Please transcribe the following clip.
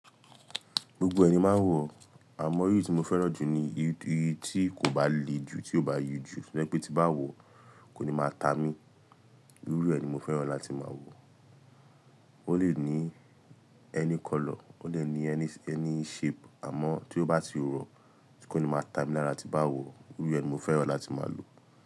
Gbogbo ẹ̀ ni máa ń wọ̀, àmọ́ irú tí mo fẹ́ràn jù ni irú tí kò bá le ju, tí ò bá yí ju. To je pé tí bá wọ̀ kò ní máa ta mí. Irú ẹ̀ ni mo fẹ́ràn láti máa wọ̀. Ó lè ní ẹni colour, ó lè ní ẹni shape àmọ́ tí ó bá ti rọ̀, tí kò ní máa ta mi lára tí bá wọ̀. Irú ẹ̀ ni mo fẹ́ràn láti máa lò.